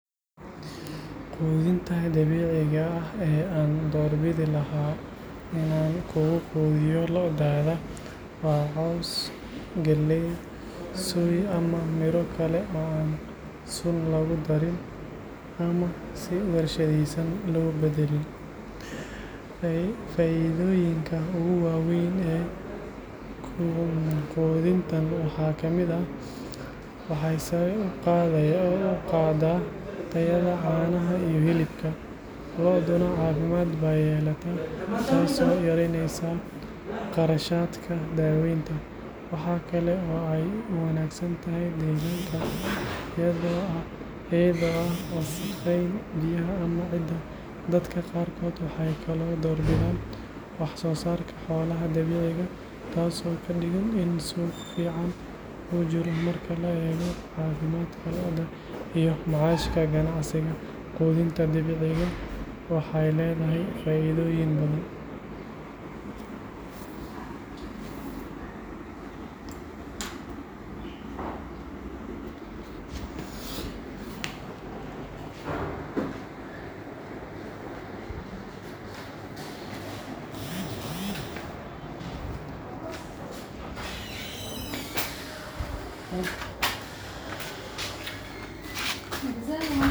Quudinta dabiiciga ah ee aan doorbidi lahaa in aan ku quudiyo lo’daada waa caws, galley, soy ama midho kale oo aan sun lagu darin ama si warshadaysan loo beddelin. Faa’iidooyinka ugu waaweyn ee quudintan waxaa ka mid ah: waxay sare u qaaddaa tayada caanaha iyo hilibka, lo’duna caafimaad bay yeelataa, taasoo yareyneysa kharashaadka daaweynta. Waxaa kale oo ay u wanaagsan tahay deegaanka, iyadoo aan wasakhayn biyaha ama ciidda. Dadka qaarkood waxay kaloo doorbidaan wax-soo-saarka xoolaha dabiiciga ah, taasoo ka dhigan in suuq fiican uu jiro. Marka la eego caafimaadka lo’da iyo macaashka ganacsiga, quudinta dabiiciga ah waxay leedahay faa’iidooyin badan.